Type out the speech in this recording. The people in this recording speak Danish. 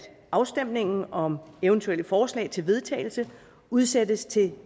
afstemningen om eventuelle forslag til vedtagelse udsættes til